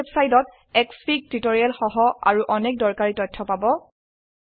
এই ওয়েবসাইটত SFIG tutorial সহ আৰু অনেক দৰকাৰী তথ্য পাব